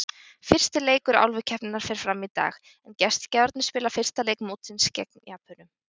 Fyrsti leikur Álfukeppninnar fer fram í dag, en gestgjafarnir spila fyrsta leik mótsins gegn Japönum.